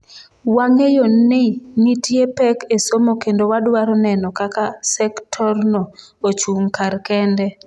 Wang’eyo ni nitie pek e somo kendo wadwaro neno kaka sektorno ochung’ kar kende.